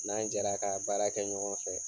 N'an jɛra kaa baara kɛ ɲɔgɔn fɛ